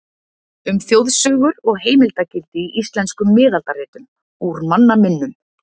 Um þjóðsögur og heimildargildi í íslenskum miðaldaritum, Úr manna minnum.